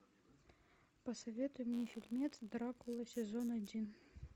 посоветуй мне фильмец дракула сезон один